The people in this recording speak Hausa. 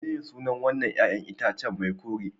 Mene ne sunan wannan 'ƴa'ƴan itacen mai kore